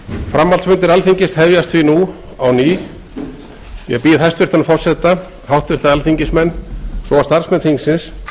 framhaldsfundir alþingis hefjast því nú á ný ég býð hæstvirtan forseta háttvirtir alþingismenn og starfsmenn þingsins